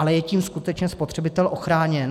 Ale je tím skutečně spotřebitel ochráněn?